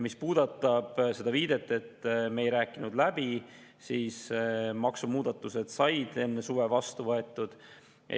Mis puudutab seda viidet, et me ei rääkinud läbi, siis maksumuudatused said vastu võetud enne suve.